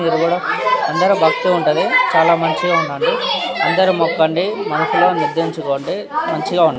మీరు కూడా అందరు భక్తి ఉంటుంది చాల మంచిగా ఉన్నది అందరు మోకండి మంచిగా --